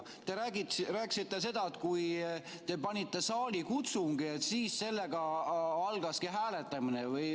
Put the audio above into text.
Te rääkisite, et kui te panite saalikutsungi käima, siis sellega algaski hääletamine.